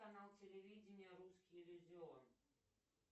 канал телевидения русский иллюзион